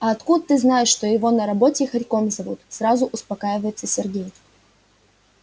а откуда ты знаешь что его на работе хорьком зовут сразу успокаивается сергей